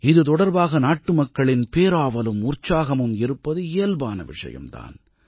இது தொடர்பாக நாட்டுமக்களின் பேராவலும் உற்சாகமும் இருப்பது இயல்பான விஷயம் தான்